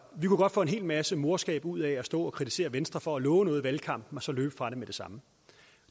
vi kunne godt få en hel masse morskab ud af at stå og kritisere venstre for at love noget i valgkampen og så løbe fra det med det samme